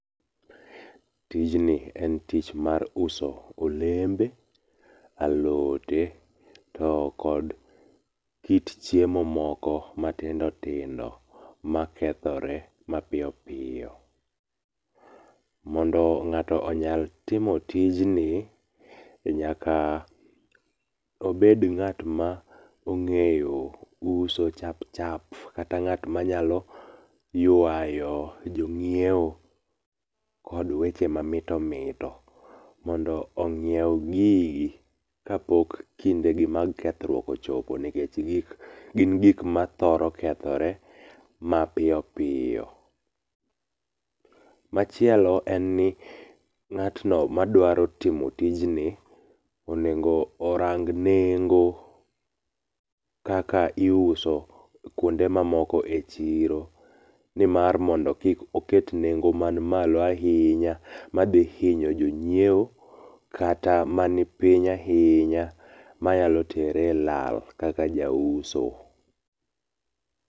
Tijni en tich mar uso olembe , alote to kod kit chiemo moko matindo tindo makethore mapiyo piyo. Mondo ng'ato onyal timo tijni, nyaka obed ng'at ma ong'eyo uso chap chap, kata ng'at manyalo yuayo jonyiewo, kod weche mamito mito mondo onyiew gigi kapok kidegi mag kethruok ochopo nikech gin gik mathoro kethore mapiyo piyo. Machielo en ni ng'atno madwaro timo tijni, onego orang nengo kaka iuso kuonde mamoko ichiro mondo kik oket nengo man malo ahinya madhi hinyo jonyiewo kata man piny ahinya manyalo tere e lal kaka jauso.